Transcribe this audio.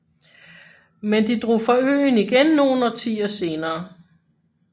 Men de drog fra øen igen nogle årtier senere